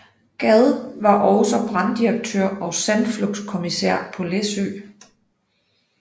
Gad var også branddirektør og sandflugtskommissær på Læsø